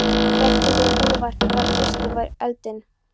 Hreggviður kúluvarpari varð fyrstur var við eldinn.